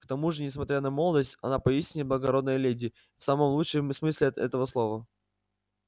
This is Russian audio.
к тому же несмотря на молодость она поистине благородная леди в самом лучшем смысле эт этого слова